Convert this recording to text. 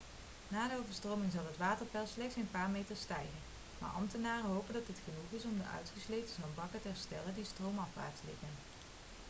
na de overstroming zal het waterpeil slechts een paar meter stijgen maar ambtenaren hopen dat dit genoeg is om de uitgesleten zandbanken te herstellen die stroomafwaarts liggen